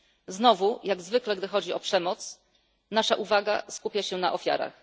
Znowu, jak zwykle gdy chodzi o przemoc, nasza uwaga skupia się na ofiarach.